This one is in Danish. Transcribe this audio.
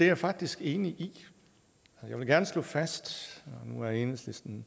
jeg faktisk enig i jeg vil gerne slå fast nu er enhedslisten